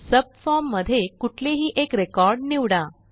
subform मध्ये कुठलेही एक रेकॉर्ड निवडा